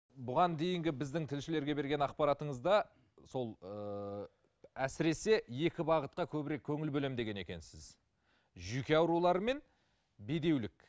бұған дейінгі біздің тілшілерге берген ақпаратыңызда сол ыыы әсіресе екі бағытқа көбірек көңіл бөлемін деген екенсіз жүйке аурулары мен бедеулік